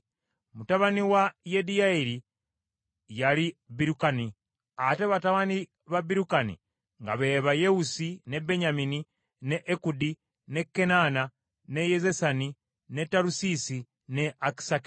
Mutabani wa Yediyayeri, yali Birukani, ate batabani ba Birukani nga be ba Yewusi, ne Benyamini, ne Ekudi, ne Kenaana, ne Zesani, ne Talusiisi ne Akisakali.